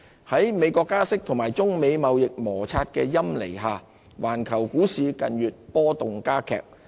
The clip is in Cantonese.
在美國加息及中美貿易摩擦的陰霾下，環球股市近月波動加劇。